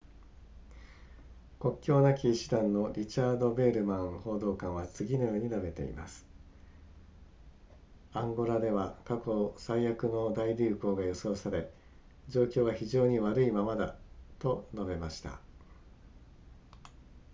国境なき医師団のリチャード・ヴェールマン報道官は次のように述べています「アンゴラでは過去最悪の大流行が予想され、状況は非常に悪いままだ」と述べました